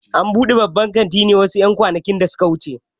An buɗe babban kantin ne wasu ƴan kwanakin da suka wuce